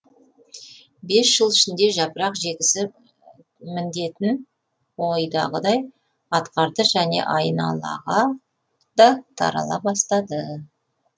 бес жыл ішінде жапырақ жегісі міндетін ойдағыдай атқарды және айналағада тарала бастады